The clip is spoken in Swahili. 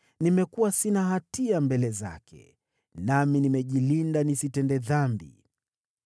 Nimekuwa sina hatia mbele zake, nami nimejilinda nisitende dhambi.